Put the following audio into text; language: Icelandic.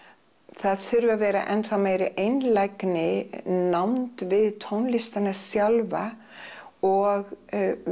það þurfi að vera enþá meiri einlægni nánd við tónlistina sjálfa og